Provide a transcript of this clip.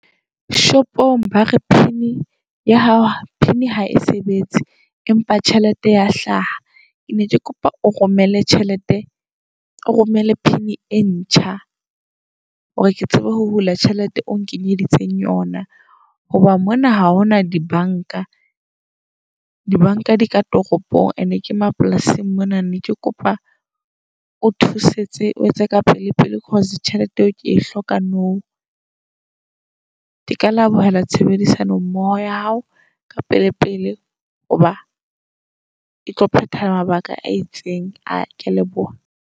Shopong ba re PIN ya hao PIN ha e sebetse, empa tjhelete ya hlaha. Ke ne ke kopa o romelle tjhelete, o romele PIN e ntjha. Hore ke tsebe ho hula tjhelete o ong kenyeditseng yona. Hoba mona ha hona dibanka, dibanka di ka toropong. And-e ke mapolasing mona ne ke kopa o thusetse o etse ka pele-pele, - cause tjhelete eo ke e hloka nou. Ke ka lebohela tshebedisano mmoho ya hao, ka pele-pele. Hoba e tlo phetha mabaka a itseng a. Kea leboha.